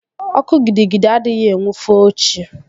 Ọkụ gidi gidi adịghị enwu foo echi